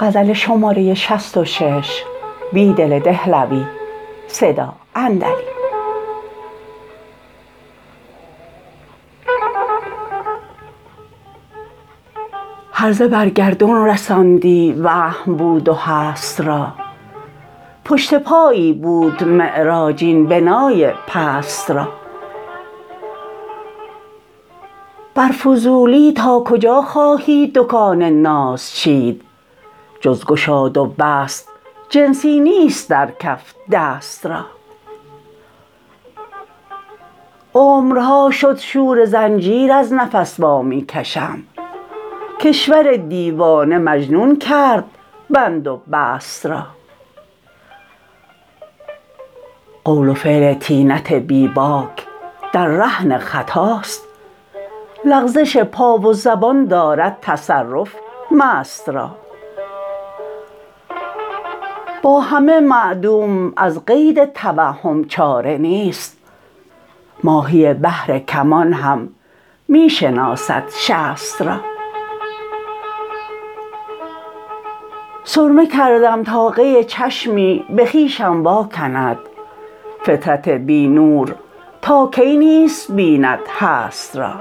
هرزه برگردون رساندی وهم بود و هست را پشت پایی بود معراج این بنای پست را بر فضولی ناکجا خواهی دکان ناز چید جزگشاد و بست جنسی نیست درکف دست را عمرها شد شورزنجیرازنفس وا می کشم کشور دیوانه مجنون کرد بند و بست را قول وفعل طینت بیباک دررهن خطاست لغزش پا و زبان دارد تصرف مست را با همه معدوم از قید توهم چاره نیست ماهی بحرکمان هم می شناسد شست را سرمه کردم تا قی چشمی به خویشم واکند فطرت بی نورتاکی نیست بیند هست را